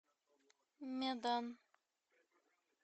медан